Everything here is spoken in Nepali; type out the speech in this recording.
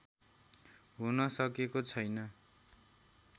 हुन सकेको छैन